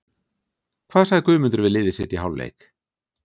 Hvað sagði Guðmundur við liðið sitt í hálfleik?